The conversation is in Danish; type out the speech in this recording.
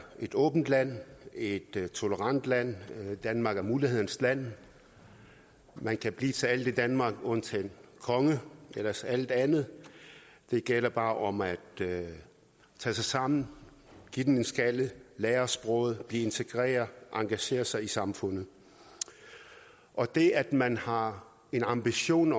et åbent land et tolerant land danmark er mulighedernes land man kan blive til alt i danmark undtagen konge ellers alt andet det gælder bare om at tage sig sammen give den en skalle lære sproget blive integreret og engagere sig i samfundet og det at man har en ambition